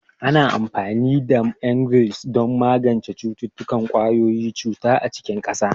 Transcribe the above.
Ana amfani da Emgyl don magance cututtukan ƙwayoyin cuta a cikin ƙasa.